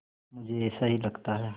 मुझे ऐसा ही लगता है